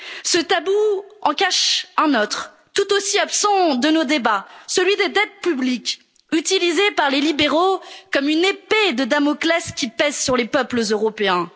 ou céder. Ce tabou en cache un autre, tout aussi absent de nos débats, celui des dettes publiques, utilisées par les libéraux comme une épée de Damoclès qui pèse sur les peuples